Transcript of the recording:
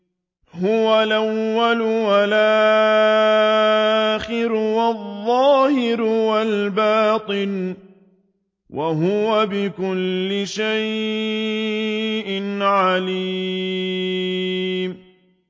هُوَ الْأَوَّلُ وَالْآخِرُ وَالظَّاهِرُ وَالْبَاطِنُ ۖ وَهُوَ بِكُلِّ شَيْءٍ عَلِيمٌ